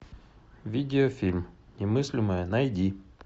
видеофильм немыслимое найди